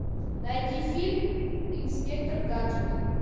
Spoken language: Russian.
найди фильм инспектор гаджет